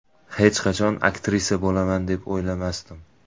Hech qachon aktrisa bo‘laman, deb o‘ylamasdim.